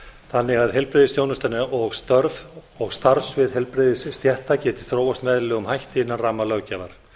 þannig að heilbrigðisþjónustan og störf og starfssvið heilbrigðisstétta geti þróast með eðlilegum hætti innan ramma löggjafar